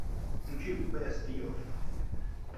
включи бэст еф